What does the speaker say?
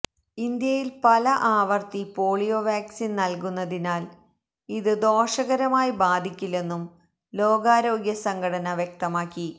ഇന്ത്യയില് പല ആവര്ത്തി പോളിയോ വാക്സിന് നല്കുന്നതിനാല് ഇത് ദോഷകരമായി ബാധിക്കില്ലെന്നും ലോകാരോഗ്യസംഘടന വ്യക്തമാക്കി